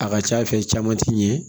A ka ca caman ti ɲɛ